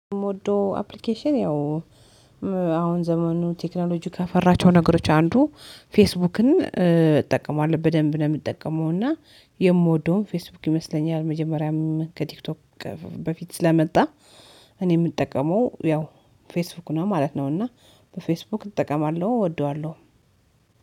የምወደው አፕሊኬሽን ያው አሁን ዘመኑ ቴክኖሎጂ ከፈራቸው ነገሮች አንዱ ፌስቡክን እጠቀማለሁ በደንብ ነው የምትጠቀመው እና የምወደውም ፌስቡክ ይመስለኛል መጀመሪያም ከቲክቶክ በፊት ስለመጣ። እኔ የምጠቀመው ያው ፌስቡክ ነው ማለት ነው። እና በፌስቡክ እጠቀማለሁ እወደዋለሁ።